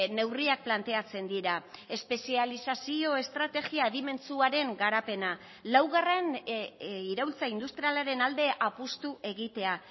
neurriak planteatzen dira espezializazio estrategia adimentsuaren garapena laugarren iraultza industrialaren alde apustu egitea